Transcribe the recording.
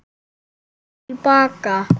Hvað kemur nú til baka?